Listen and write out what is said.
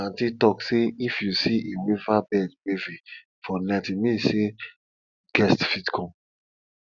aunties talk say if you see a weaverbird weaving for night e mean sey guest fit come